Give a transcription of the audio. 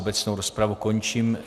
Obecnou rozpravu končím.